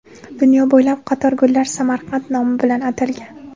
Dunyo bo‘ylab qator gullar Samarqand nomi bilan atalgan.